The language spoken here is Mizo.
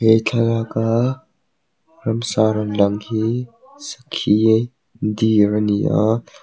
he thalak a ramsa rawn lang hi sakhi deer a ni a.